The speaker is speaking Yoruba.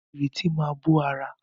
Ìrètí máa bó ara.